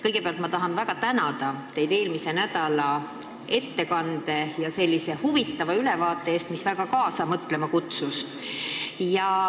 Kõigepealt ma tahan väga tänada teid eelmise nädala ettekande ja huvitava ülevaate eest, mis kutsus väga kaasa mõtlema.